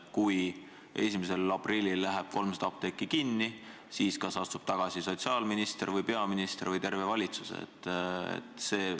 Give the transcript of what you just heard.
Kui 1. aprillil läheb 300 apteeki kinni, siis kas tagasi astub sotsiaalminister, peaminister või terve valitsus?